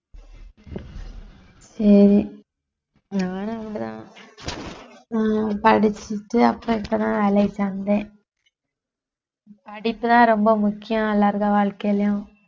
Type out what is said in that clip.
சரி நானும் அப்படித்தான் அஹ் படிச்சுட்டு அப்புறம் இப்பதான் வேலைக்கு வந்தேன் படிப்புதான் ரொம்ப முக்கியம் எல்லாருடைய வாழ்க்கையிலயும்